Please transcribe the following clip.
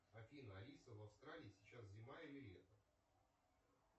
афина алиса в австралии сейчас зима или лето